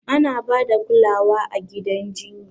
Ana ba da kulawa a gidan jinya.